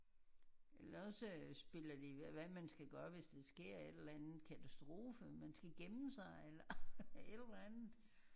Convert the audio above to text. Eller også spiller de hvad man skal gøre hvis der sker et eller andet katastrofe man skal gemme sig eller et eller andet